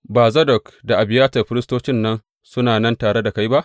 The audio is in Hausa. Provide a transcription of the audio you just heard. Ba Zadok da Abiyatar firistocin nan suna nan tare da kai ba?